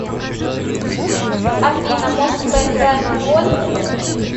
афина может поиграем в гольф